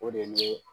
O de ye ne